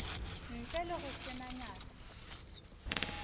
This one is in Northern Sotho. ntle le go senya nako